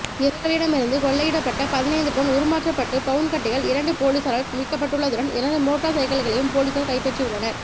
இவர்களிடமிருந்து கொள்ளையிடப்பட்ட பதினைந்து பவுண் உருமாற்றப்பட்ட பவுண் கட்டிகள் இரண்டு பொலிசாரால் மீட்கப்பட்டுள்ளதுடன் இரண்டு மோட்டார் சைக்கிள்களையும் பொலிசார் கைப்பற்றியுள்ளனர்